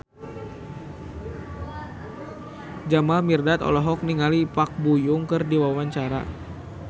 Jamal Mirdad olohok ningali Park Bo Yung keur diwawancara